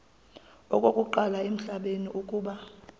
okokuqala emhlabeni uba